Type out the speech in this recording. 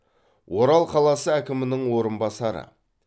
орал қаласы әкімінің орынбасары